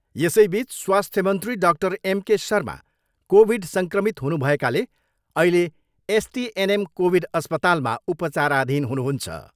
यसैबिच स्वास्थ्य मन्त्री doctor M. K. Sharma covid सङ्क्रमित हुनुभएकाले अहिले एसटिएनएम कोभिड अस्पतालमा उपचाराधीन हुनुहुन्छ।